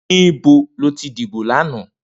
Nibó ló ti dibó làná?